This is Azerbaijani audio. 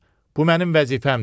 Bu mənim vəzifəmdir.